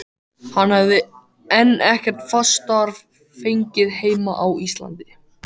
Hann hefði enn ekkert fast starf fengið heima á Íslandi.